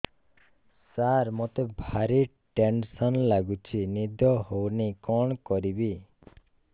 ସାର ମତେ ଭାରି ଟେନ୍ସନ୍ ଲାଗୁଚି ନିଦ ହଉନି କଣ କରିବି